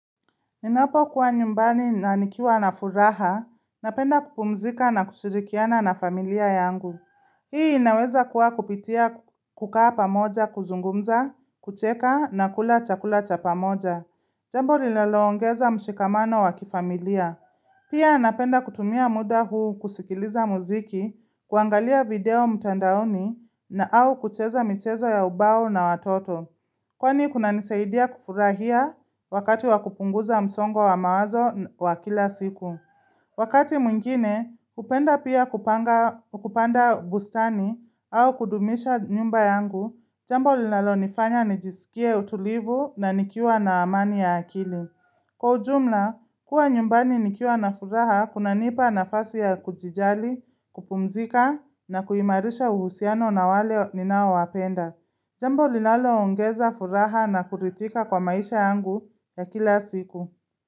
Ninapo kuwa nyumbani nanikiwa na furaha, napenda kupumzika na kushirikiana na familia yangu. Hii inaweza kuwa kupitia kukaa pamoja kuzungumza, kucheka na kula chakula cha pamoja. Jambo linaloongeza mshikamano wakifamilia. Pia napenda kutumia muda huu kusikiliza muziki, kuangalia video mtandaoni na au kucheza michezo ya ubao na watoto. Kwani kuna nisaidia kufurahia wakati wakupunguza msongo wa mawazo wa kila siku. Wakati mwingine, hupenda pia kupanda bustani au kudumisha nyumba yangu, jambo linalo nifanya nijisikie utulivu na nikiwa na amani ya akili. Kwa ujumla, kuwa nyumbani nikiwa na furaha kuna nipa na fasi ya kujijali, kupumzika na kuhimarisha uhusiano na wale ninao wapenda. Jambo linalo ongeza furaha na kurithika kwa maisha yangu ya kila siku.